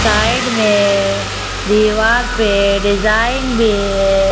Side में दीवार पे डिजाइन भी है।